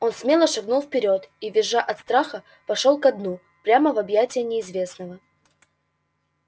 он смело шагнул вперёд и визжа от страха пошёл ко дну прямо в объятия неизвестного